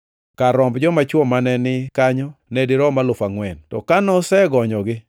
Kar romb joma chwo mane ni kanyo ne dirom alufu angʼwen. To ka nosegonyogi,